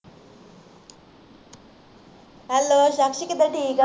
Hello Jass ਕਿਦਾਂ ਠੀਕ ਆਂ